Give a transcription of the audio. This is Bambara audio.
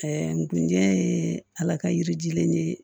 n kun jɛ ye ala ka yirijulen de ye